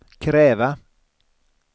kräva